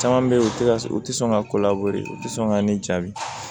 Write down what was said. Caman bɛ yen u tɛ ka u tɛ sɔn ka ko labo yen u tɛ sɔn ka ne jaabi